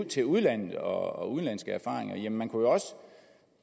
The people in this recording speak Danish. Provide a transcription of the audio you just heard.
til udlandet og udenlandske erfaringer men